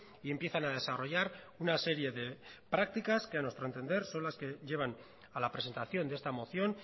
y empiezan a desarrollar una serie de prácticas que a nuestro entender son las que llevan a la presentación de esta moción